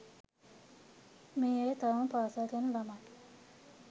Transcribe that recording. මේ අය තවම පාසල් යන ළමයි.